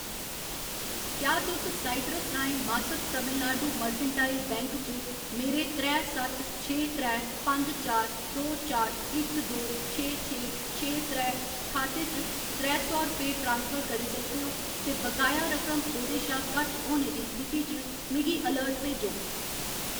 क्या तुस साइट्रस राहें मासक तमिलनाडु मर्केंटाइल बैंक च मेरे त्रै सत्त छे त्रै पंज चार दो चार इक दो छे छे छे त्रै खाते च त्रै सौ रपेऽ ट्रांसफर करी सकदे ओ ते बकाया रकम ओह्‌दे शा घट्ट होने दी स्थिति च मिगी अलर्ट भेजो?